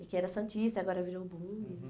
E que era Santista, agora virou Bum. Uhum.